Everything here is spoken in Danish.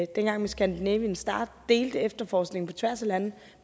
dengang med scandinavian star delte efterforskningen på tværs af lande